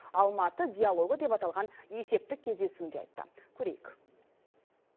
алматы диалогы деп аталған есепті кездесуінде айтты көрейік